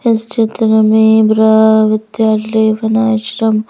इस चित्र मे ब्र विद्यालय बनाश्रम--